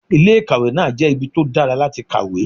Ilé ìkàwé náà jẹ́ ibi tó dára láti kàwé.